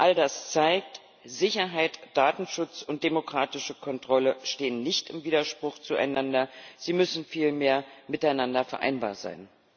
All das zeigt Sicherheit, Datenschutz und demokratische Kontrolle stehen nicht im Widerspruch zueinander, sie müssen vielmehr miteinander vereinbar sein.